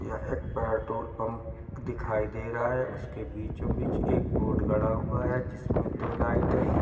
यह एक petrol pump दिखाई दे रहा है उसके बीचो बिच एक बोर्ड गड़ा हुआ है जिसमे दो लाइट है।